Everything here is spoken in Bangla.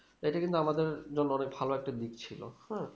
এটা কিন্ত আমাদের জন্য অনিক ভালো একটা দিক ছিল হুম